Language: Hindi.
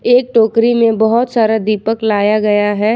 एक टोकरी में बहोत सारा दीपक लाया गया है।